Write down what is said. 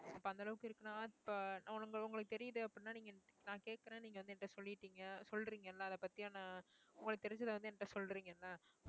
அப்ப அந்த அளவுக்கு இருக்குன்னா இப்ப உங்களுக்கு தெரியுது அப்படின்னா நீங்க நான் கேட்கிறேன் நீங்க வந்து என்கிட்ட சொல்லிட்டீங்க சொல்றீங்கல்ல அதைப் பத்தியான உங்களுக்கு தெரிஞ்சதை வந்து என்கிட்ட சொல்றீங்கல்ல